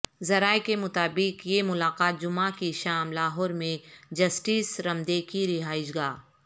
ذرائع کے مطابق یہ ملاقات جعمہ کی شام لاہور میں جسٹس رمدے کی رہائش گاہ